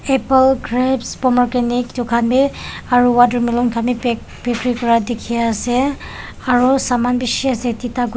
apple grapes ponogrante itu khan bhi aru watermelon kan bi dikhi ase aru saman bishi ase tita guti--